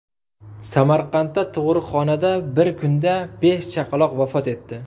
Samarqandda tug‘uruqxonada bir kunda besh chaqaloq vafot etdi.